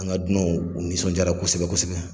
An ka dunanw u nisɔnjaara kosɛbɛ kosɛbɛ.